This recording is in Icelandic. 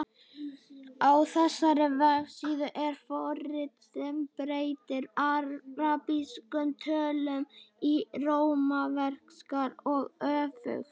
Á þessari vefsíðu er forrit sem breytir arabískum tölum í rómverskar og öfugt.